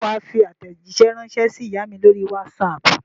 Ṣé wà á fi àtẹ̀jíṣẹ́ ránṣẹ́ sí ìyá mi lórí WhatsApp?